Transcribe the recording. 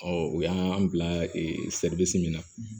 Ɔ o y'an bila ee min na